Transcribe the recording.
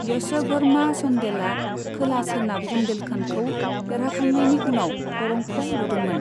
यश'भर्मा चन्देलआ खोला सोनाब बुन्देलखन्डखौ देरहाखांनायनि उनाव खरंखौ लुदोंमोन।